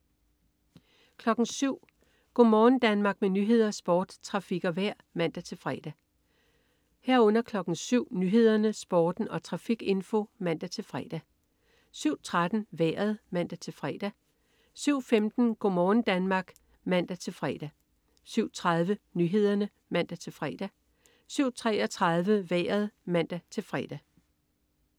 07.00 Go' morgen Danmark. Med nyheder, sport, trafik og vejr (man-fre) 07.00 Nyhederne, Sporten og trafikinfo (man-fre) 07.13 Vejret (man-fre) 07.15 Go' morgen Danmark (man-fre) 07.30 Nyhederne (man-fre) 07.33 Vejret (man-fre)